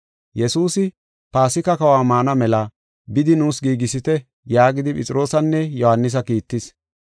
Yesuusi, “Paasika kahuwa maana mela bidi nuus giigisite” yaagidi Phexroosanne Yohaanisa kiittis.